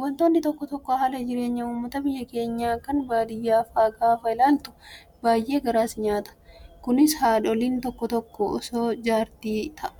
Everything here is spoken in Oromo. Wantoonni tokko tokko hala jireenya uummata biyya keenyaa kan baadiyyaa fa'aa gaafa ilaaltu baay'ee garaa si nyaata. Kunis haadholiin tokko tokko osoo jaartii